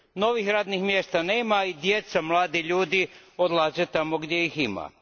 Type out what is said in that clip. Novih radnih mjesta nema i djeca, mladi ljudi, odlaze tamo gdje ih ima.